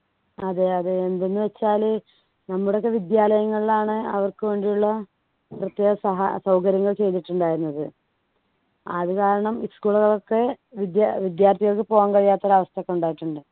അതെ അതെ എന്തെന്ന് വെച്ചാൽ നമ്മുടെ ഒക്കെ വിദ്യാലയങ്ങളിലാണ് അവർക്ക് വേണ്ടിയുള്ള പ്രത്യേക സഹാ സൗകര്യങ്ങൾ ചെയ്തിട്ടുണ്ടായിരുന്നത് അത് കാരണം school കളൊക്കെ വിദ്യാ വിദ്യാർഥികൾക്ക് പോകാൻ കഴിയാത്ത ഒരു അവസ്ഥക്കെ ഉണ്ടായിട്ടുണ്ട്